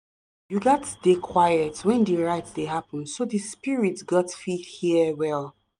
you gats dey quiet when di rite dey happen so di spirits got fit hear well.